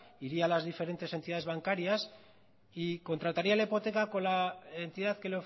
iría a las diferentes entidades bancarias y contrataría la hipoteca con la entidad que